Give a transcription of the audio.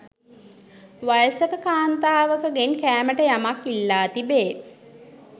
වයසක කාන්තාවකගෙන් කෑමට යමක් ඉල්ලා තිබේ.